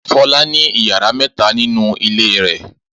Fọlá ní ìyàrá mẹ́ta nínú ilé rẹ̀.